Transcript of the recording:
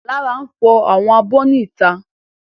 Lára n fọ àwọn abọ́ ní ìta